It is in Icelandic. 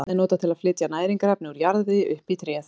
Vatn er notað til að flytja næringarefni úr jarðvegi upp í tréð.